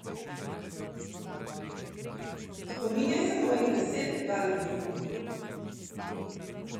Spominjaj se mojih besed, Balbi!